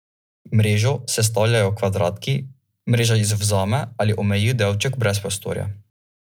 Vse glasnejše pa so govorice, da naj bi v Gorenju ne le razmišljali o selitvi določenih programov, temveč kar celotnem sedežu podjetja.